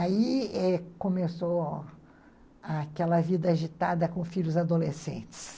Aí começou aquela vida agitada com filhos adolescentes.